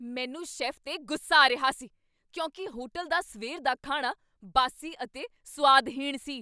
ਮੈਨੂੰ ਸ਼ੈੱਫ 'ਤੇ ਗੁੱਸਾ ਆ ਰਿਹਾ ਸੀ ਕਿਉਂਕਿ ਹੋਟਲ ਦਾ ਸਵੇਰ ਦਾ ਖਾਣਾ ਬਾਸੀ ਅਤੇ ਸੁਆਦਹੀਣ ਸੀ।